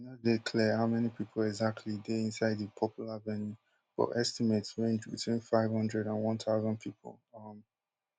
e no dey clear how many pipo exactly dey inside di popular venue but estimates range between five hundred and one thousand pipo um